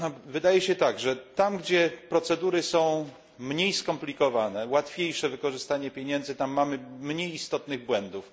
Wydaje się tak, że tam gdzie procedury są mniej skomplikowane, łatwiejsze wykorzystanie pieniędzy, tam mamy mniej istotnych błędów.